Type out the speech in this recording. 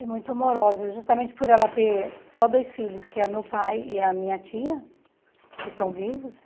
E muito amorosa, justamente por ela ter só dois filhos, que é meu pai e a minha tia, que estão vivos,